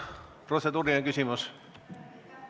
Kas protseduuriline küsimus?